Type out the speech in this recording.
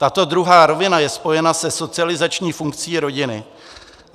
Tato druhá rovina je spojena se socializační funkcí rodiny.